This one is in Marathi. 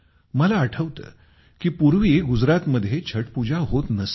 मला आठवते की पूर्वी गुजरातमध्ये छठपूजा होत नसे